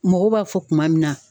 Mɔgɔw b'a fɔ kuma min na